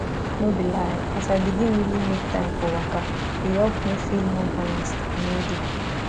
no be lie as i begin really make time for waka e help me feel more balanced and healthy